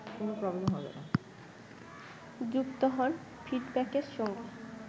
যুক্ত হন ফিডব্যাকের সঙ্গে